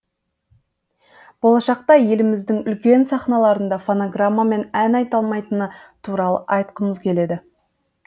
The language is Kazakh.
болашақта еліміздің үлкен сахналарында фонограммамен ән айталмайтыны туралы айтқымыз келеді